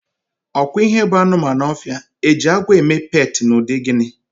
Ọkwa ihe bụ anụmanụ ọfịa, Eji agwọ eme peetị na ụdị gịnị?